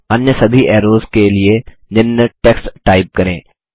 अब अन्य सभी ऐरोज़ के लिए निम्न टेक्स्ट टाइप करें